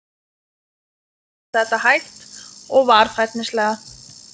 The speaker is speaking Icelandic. Hún segir þetta hægt og varfærnislega.